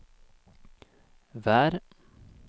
vær